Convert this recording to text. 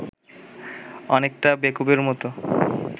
অনেকটা বেকুবের মতো